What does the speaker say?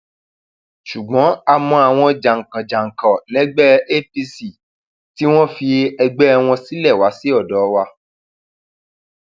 ṣùgbọn a mọ àwọn jàǹkànjàǹkàn lẹgbẹ apc tí wọn fi ẹgbẹ wọn sílẹ wá sọdọ wa